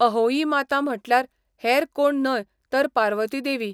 अहोई माता म्हटल्यार हेर कोण न्हय तर पार्वती देवी.